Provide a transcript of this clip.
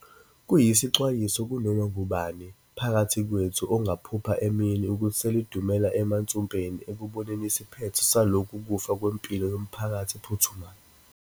Kuyisixwayiso kunoma ngubani phakathi kwethu ongaphupha emini ukuthi selidumela emansumpeni ekuboneni isiphetho saloku kufa kwempilo yomphakathi ephuthumayo.